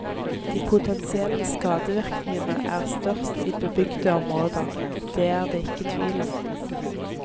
De potensielle skadevirkningene er størst i bebygde områder, det er det ikke tvil om.